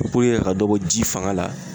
puruke ka dɔ bɔ ji fanga la